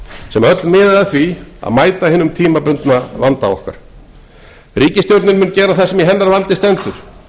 sem öll miða að því að mæta hinum tímabundna vanda okkar ríkisstjórnin mun gera það sem í hennar valdi stendur